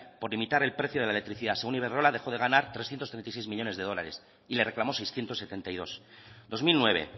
por limitar el precio de la electricidad según iberdrola dejó de ganar trescientos treinta y seis millónes de dólares y le reclamó seiscientos setenta y dos dos mil nueve